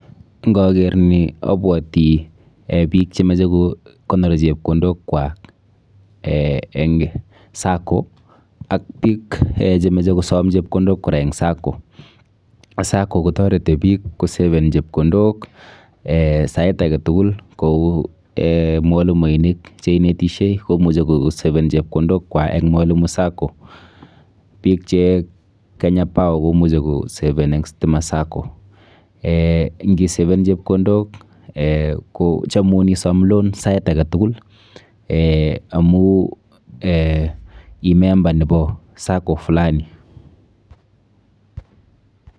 Ngaker ni abuoti biik chemeche kokonor chepkondok kwak eng sacco ak biik chemeche kosam chepkondok kora eng sacco, sacco kotareti biik kosaven chepkondok sait agetukul kou mwalimuinik cheinetishei komuch kosaven chepkondok kwak eng mwalimu sacco biik che Kenya power komuch kosaven eng Stima sacco. ngii saven chepkondok kochamun isom loan sait agetukul amuu ii member nebo sacco fulani